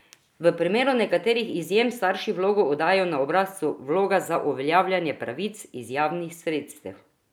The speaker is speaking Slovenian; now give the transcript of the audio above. V primeru nekaterih izjem starši vlogo oddajo na obrazcu Vloga za uveljavljanje pravic iz javnih sredstev.